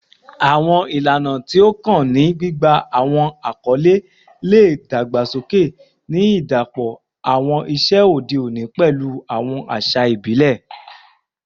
Awọn ilana ti o kan ni gbigba awọn akọle le dagbasoke, ni idapọ awọn iṣe ode oni pẹlu awọn aṣa ibile